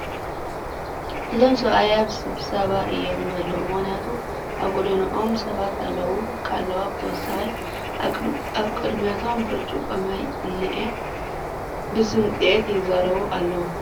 እዞም ሰብኣይ ኣብ ሰብሰባ እዮም ዘለዉ ምኽንያቱም ኣብ ጎድኖም ሰባት ኣለዉ/ዋ ፡ ብተወሳኺ ኣብ ቕድሚቶም ብርጭቖ ማይ እንኤ ፡ ብስምፂት ይዛረቡ ኣለዉ ።